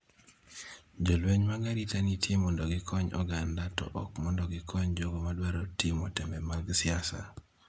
Jolweny mag arita nitie mondo gikony oganda to ok mondo gikony jogo ma dwaro timo tembe mag siasa."